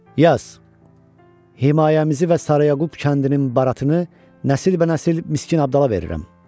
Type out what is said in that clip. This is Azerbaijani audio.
Yaz: Himayəmizi və Sara Yaqub kəndinin baratını nəsilbənəsil Miskin Abdala verirəm.